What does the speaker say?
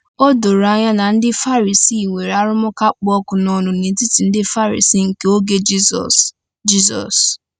O doro anya na ndị Farisii nwere arụmụka kpụ ọkụ n’ọnụ n’etiti ndị Farisii nke oge Jizọs. Jizọs.